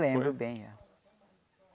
Lembro bem.